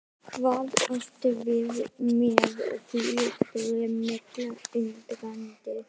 Hvað áttu við með því? spurði Milla undrandi?